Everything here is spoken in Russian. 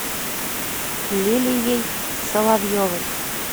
лилией соловьевой